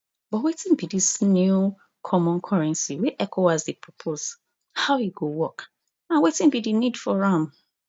but wetin be dis new common currency wey ecowas dey propose how e go work and wetin be di need for am